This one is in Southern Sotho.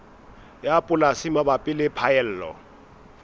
ya polasi mabapi le phaello